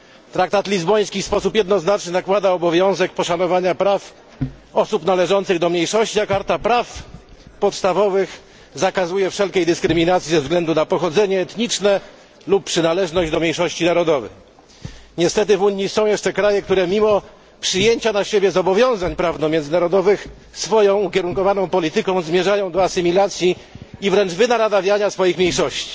Traktat lizboński w sposób jednoznaczny nakłada obowiązek poszanowania praw osób należących do mniejszości, a karta praw podstawowych zakazuje wszelkich dyskryminacji ze względu na pochodzenie etniczne lub przynależność do mniejszości narodowej. Niestety w Unii są jeszcze kraje, które mimo przyjęcia na siebie zobowiązań prawno międzynarodowych swoją ukierunkowaną polityką zmierzają do asymilacji i wręcz wynaradawiania swoich mniejszości.